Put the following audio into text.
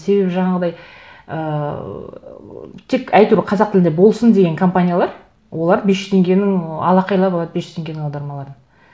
себебі жаңағыдай ыыы тек әйтеуір қазақ тілде болсын деген компаниялар олар бес жүз теңгенің алақайлап алады бес жүз теңгенің аудармаларын